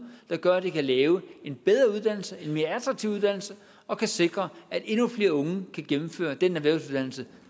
der gør at de kan lave en bedre uddannelse en mere attraktiv uddannelse og kan sikre at endnu flere unge kan gennemføre den erhvervsuddannelse